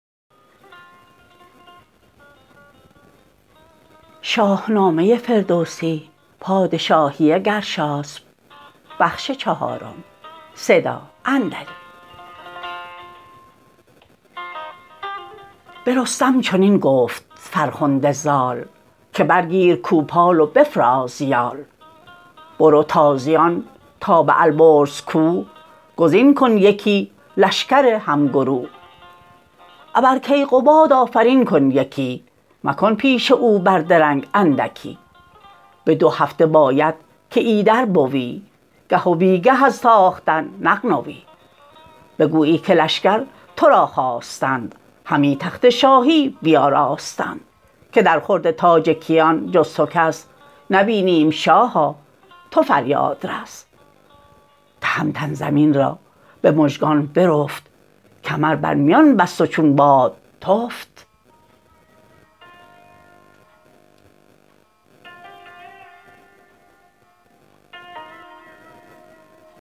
به رستم چنین گفت فرخنده زال که برگیر کوپال و بفراز یال برو تازیان تا به البرز کوه گزین کن یکی لشکر همگروه ابر کیقباد آفرین کن یکی مکن پیش او بر درنگ اندکی به دو هفته باید که ایدر بوی گه و بیگه از تاختن نغنوی بگویی که لشکر ترا خواستند همی تخت شاهی بیاراستند که در خورد تاج کیان جز تو کس نبینیم شاها تو فریادرس تهمتن زمین را به مژگان برفت کمر برمیان بست و چون باد تفت